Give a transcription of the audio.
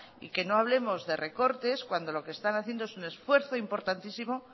y que no hablemos de recortes cuando lo que están haciendo es un esfuerzo importantísimo